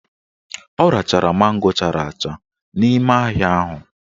Ọ rachara mango chara acha n'ime ahịa ahụ